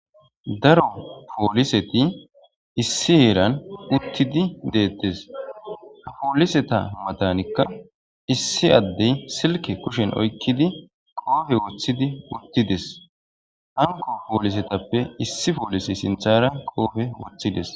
daro pooliseti issi heeran uttidi deettes ha pooliseta matanikka issi addey silke kushen oykkidi qoofe woththidi uttides hango poolisetappe issi poolisi sinthara qoofe woththides